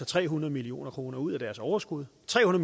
tre hundrede million kroner ud af deres overskud tre